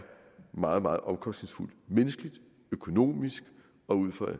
meget meget omkostningsfuldt menneskeligt økonomisk og ud fra